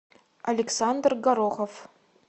александр горохов